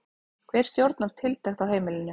Hver stjórnar tiltekt á heimilinu?